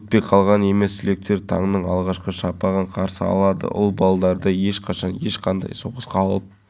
сала мамандарының айтуынша соңғы жылдары қауіпсіз әрі әсем балалар алаңына деген сұраныс арта түскен мәселен жыл